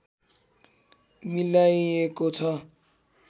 मिलाइएको छ